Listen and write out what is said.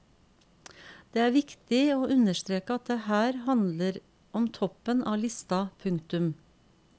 Det er viktig å understreke at her handler det om toppen av lista. punktum